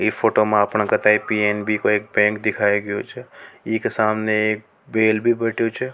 इ फोटो में अपना पी_एन_बी बैंक दिखाई छ ई के सामने एक बैल भी बैठे छ।